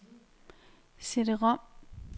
CD-rom